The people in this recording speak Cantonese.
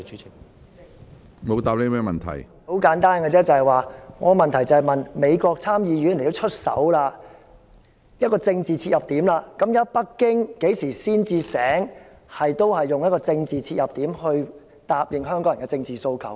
很簡單而已，我的急切質詢是連美國參議院也出手，這是一個政治切入點，北京何時才會醒覺，用政治切入點答應香港人的政治訴求？